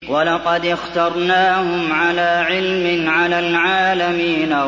وَلَقَدِ اخْتَرْنَاهُمْ عَلَىٰ عِلْمٍ عَلَى الْعَالَمِينَ